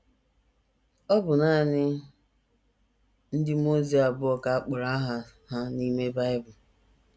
Ọ bụ nanị ndị mmụọ ozi abụọ ka a kpọrọ aha ha n’ime Bible.